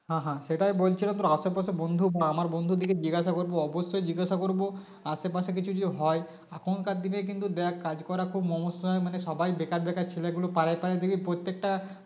হ্যাঁ হ্যাঁ সেটাই বলছিলাম তোর আশেপাশে বন্ধু বা আমার বন্ধুদেরকে জিজ্ঞাসা করব অবশ্যই জিজ্ঞাসা করব আশেপাশে কিছু যদি হয় এখনকার দিনে কিন্তু দেখ কাজ করা খুব সমস্যা মানে সবাই বেকার বেকার ছেলেগুলো পাড়ায় পাড়ায় দেখবি প্রত্যেকটা